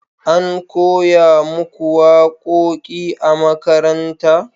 an koya muku waƙoƙi a makaranta?